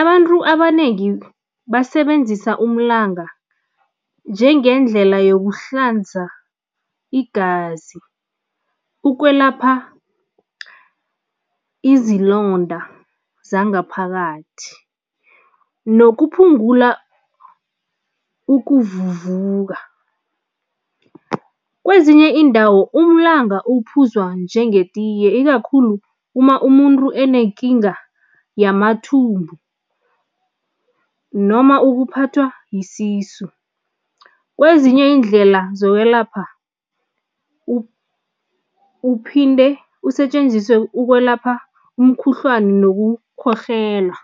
Abantu abanengi basebenzisa umlanga njengendlela yokuhlanza igazi, ukwelapha izilonda zangaphakathi nokuphungula ukuvuvuka. Kwezinye iindawo, umlanga uphuzwa njengetiye, ikakhulu uma umuntu enekinga yamathumbu noma ukuphathwa yisisu. Kwezinye iindlela zokwelapha uphinde usetjenziswe ukwelapha umkhuhlwani nokukhohlela.